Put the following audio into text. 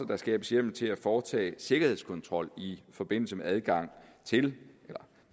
der skabes hjemmel til at foretage sikkerhedskontrol i forbindelse med adgang til